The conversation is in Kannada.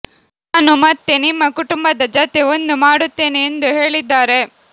ನಾನು ಮತ್ತೆ ನಿಮ್ಮ ಕುಟುಂಬದ ಜತೆ ಒಂದು ಮಾಡುತ್ತೇನೆ ಎಂದು ಹೇಳಿದ್ದಾರೆ